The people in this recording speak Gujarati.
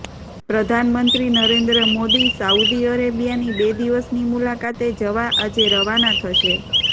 પ્રધાનમંત્રી નરેન્દ્ર મોદી સાઉદી અરેબિયાની બે દિવસની મુલાકાતે જવા આજે રવાના થશે